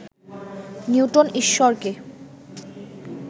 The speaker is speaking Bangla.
নিউটন ঈশ্বরকে